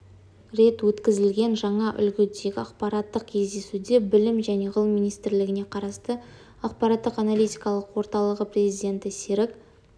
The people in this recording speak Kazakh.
рет өткізілген жаңа үлгідегі ақпараттық кездесуде білім және ғылым министрлігіне қарасты ақпараттық-аналитикалық орталығы президенті серік